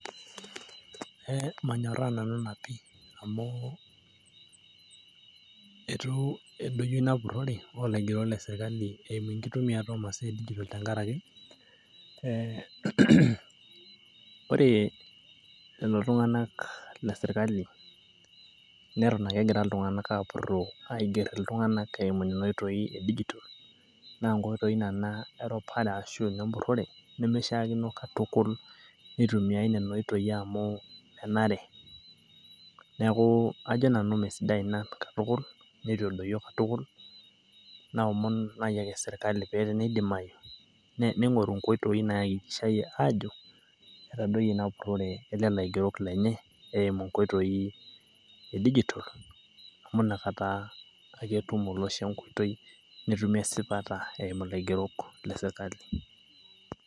manyoraa nanu ina pii, amu eitu edoyio ina purore oolaigerok le sirkali, eimu enkitumiata oo masaa e digital tenkaraki. ore lelo tunganak le sirkali neton ake egira apuroo aiger lelo tunganak eimu enkoitoi e digital. naa ore ina naa empurore, ashu eropare. nemeishaakino katukul, neitumiae nena oitoi amu menare. neeku, ajo nanu mesidai ina katukul, neitu edoyio katukul.